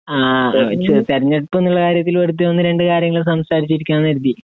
ആ തിരഞ്ഞെടുപ്പ് എന്നുള്ള കാര്യത്തില് വെറുതെ ഒന്ന് രണ്ട് കാര്യങ്ങള് സംസാരിച്ച് ഇരിക്കാമെന്ന് കരുതി